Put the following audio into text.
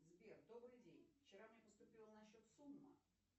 сбер добрый день вчера мне поступила на счет сумма